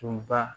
Tun ba